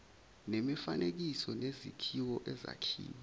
nemifanekiso nezakhiwo ezakhiwe